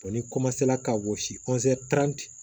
ni ka gosi